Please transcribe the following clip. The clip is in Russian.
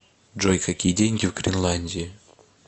джой какие деньги в гренландии